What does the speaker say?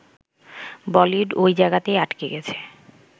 বলিউড ওই জায়গাতেই আটকে গেছে